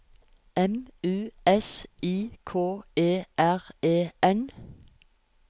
M U S I K E R E N